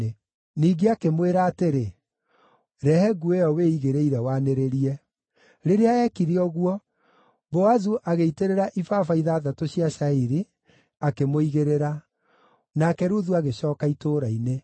Ningĩ akĩmwĩra atĩrĩ, “Rehe nguo ĩyo wĩigĩrĩire wanĩrĩrie.” Rĩrĩa eekire ũguo, Boazu agĩitĩrĩra ibaba ithathatũ cia cairi, akĩmũigĩrĩra. Nake Ruthu agĩcooka itũũra-inĩ.